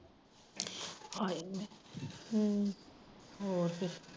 ਹਾਏ ਹਮ ਹੋਰ ਫਿਰ